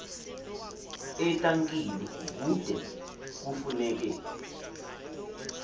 etankini kude kufuneke